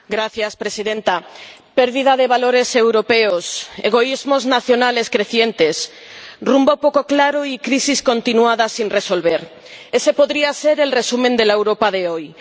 Señora Presidenta. Pérdida de valores europeos, egoísmos nacionales crecientes, rumbo poco claro y crisis continuadas sin resolver ese podría ser el resumen de la Europa de hoy